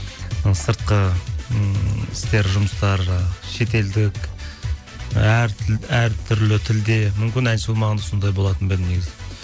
ы сыртқы ммм істер жұмыстар жаңағы шетелдік әртүрлі тілде мүмкін әнші болмағанда сондай болатын ба едім негізі